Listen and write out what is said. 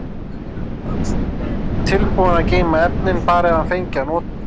Tilbúinn að geyma efnin, bara ef hann fengi að nota þau.